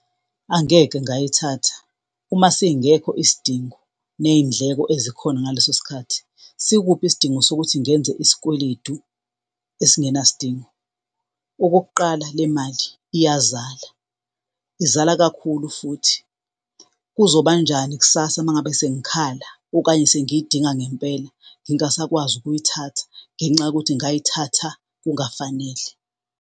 Angeke ngayithatha, uma singekho isidingo ney'ndleko ezikhona ngaleso sikhathi sikuphi isidingo sokuthi ngenze isikweletu esingenasidingo? Okokuqala, le mali iyazala, izala kakhulu futhi, kuzobanjani kusasa uma ngabe sengikhala, okanye sengiyidinga ngempela ngingasakwazi ukuyithatha ngenxa yokuthi ngayithatha kungafanele?